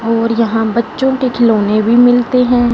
और यहां बच्चों के खिलौने भी मिलते हैं।